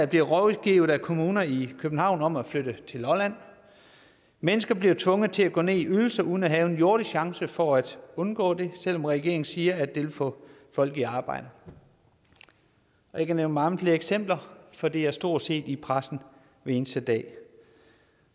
bliver rådgivet af kommuner i københavn om at flytte til lolland mennesker bliver tvunget til at gå ned i ydelse uden at have en jordisk chance for at undgå det selv om regeringen siger at det vil få folk i arbejde jeg kan nævne mange flere eksempler for det er stort set i pressen hver eneste dag